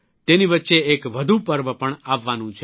તેની વચ્ચે એક વધુ પર્વ પણ આવવાનું છે